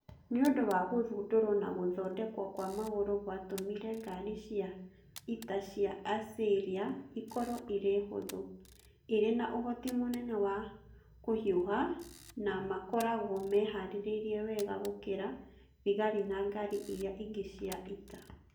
Nĩ ũndũ wa gũthundurwo na gũthondekwo kwa magũrũ gwatmire ngaari cia ita cia Assyria ikorwo irĩ hũthũ, irĩ na ũhoti mũnene wa kũhiũha na na makoragwo mehaarĩirie wega gũkĩra thigari na ngaari iria ingĩ cia ita.